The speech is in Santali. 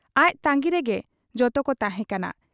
ᱟᱡ ᱛᱟᱺᱜᱤ ᱨᱮᱜᱮ ᱡᱚᱛᱚᱠᱚ ᱛᱟᱦᱮᱸ ᱠᱟᱱᱟ ᱾